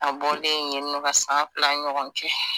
A bɔlen yennɔ ka san fila ɲɔgɔn kɛ.